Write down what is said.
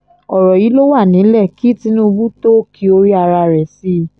ọ̀rọ̀ yí ló wà nílẹ̀ kí tinúbù tó o kí orí ara rẹ sí i